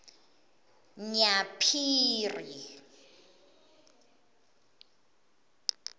nyaphiri